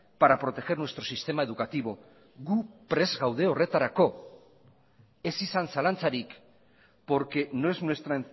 para proteger nuestro sistema educativo gu prest gaude horretarako ez izan zalantzarik porque no es nuestra